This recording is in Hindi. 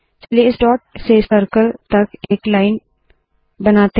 चलिए इस डॉट से सर्कल तक एक लाइन बनाते है